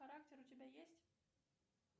характер у тебя есть